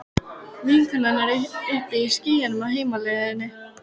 Vinkonan er uppi í skýjunum á heimleiðinni.